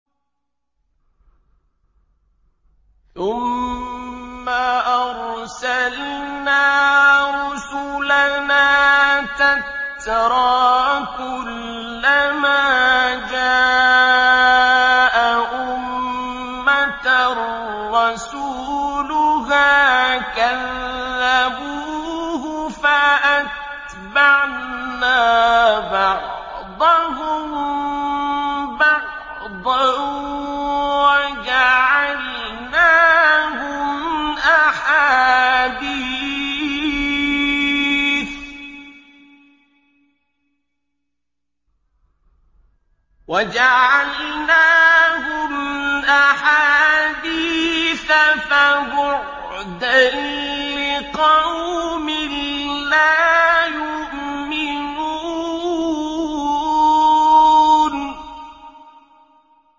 ثُمَّ أَرْسَلْنَا رُسُلَنَا تَتْرَىٰ ۖ كُلَّ مَا جَاءَ أُمَّةً رَّسُولُهَا كَذَّبُوهُ ۚ فَأَتْبَعْنَا بَعْضَهُم بَعْضًا وَجَعَلْنَاهُمْ أَحَادِيثَ ۚ فَبُعْدًا لِّقَوْمٍ لَّا يُؤْمِنُونَ